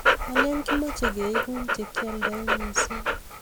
alen kimache keegu che kildoi mising